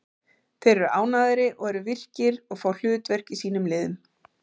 Þeir eru ánægðari og eru virkir og fá hlutverk í sínum liðum.